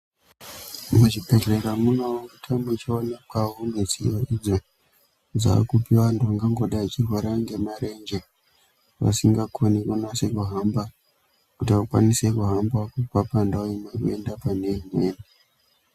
Muzvibhehlera munopota muchionekwawo midziyo idzo dzaakupiwa antu vanagangodai vachirwara nemarenje vasikakoni kuti vakwanisee kuhamba kuti akwanise kuhamba kubva pandau imweni kuenda pandau imweni.